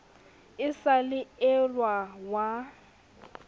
e sa le elwa wa